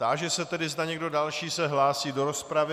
Táži se tedy, zda někdo další se hlásí do rozpravy.